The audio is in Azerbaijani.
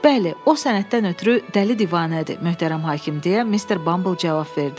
Bəli, o sənətdən ötrü dəli divanədir, möhtərəm hakim deyə Mr. Bumble cavab verdi.